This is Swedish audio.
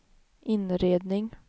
inredning